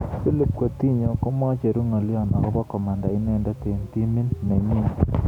Philippe Coutinho komechuru ngalyo akobo komanda inendet eng timit nenyi.